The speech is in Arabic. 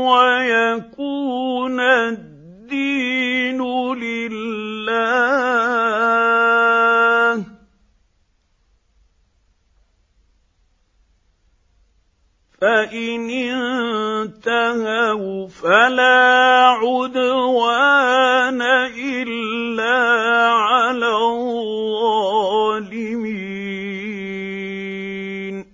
وَيَكُونَ الدِّينُ لِلَّهِ ۖ فَإِنِ انتَهَوْا فَلَا عُدْوَانَ إِلَّا عَلَى الظَّالِمِينَ